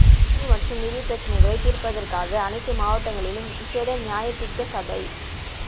காணி மற்றும் நிதி பிரச்சினைகளை தீர்ப்பதற்காக அனைத்து மாவட்டங்களிலும் விசேட நியாயாதிக்க சபை